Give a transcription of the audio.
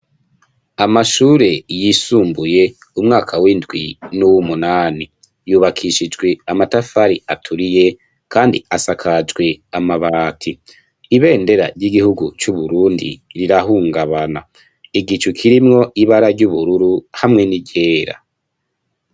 Amashure yisumbuye umwaka w’indwi nuwumunani, yubakishijwe amatafari aturiye kandi asakajwe amabati. Ibendera ryi gihugu cu Burundi rirahungabana igicu kirimwo ibara ry’ubururu hamwe n'iryera.